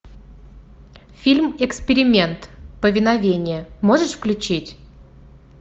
фильм эксперимент повиновение можешь включить